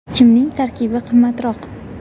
Kimning tarkibi qimmatroq?.